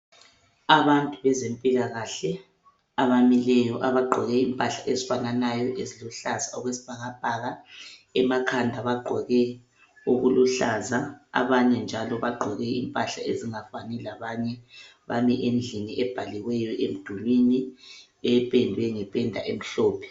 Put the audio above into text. Abantu bezempilakahle abamileyo abagqoke impahla ezifananayo eziluhlaza okwesibhakabhaka. Emakhanda bagqoke okuluhlaza abanye njalo bagqoke impahla ezingafani labanye. Bame endlini ebhaliweyo emdulwini, ependwe ngependa emhlophe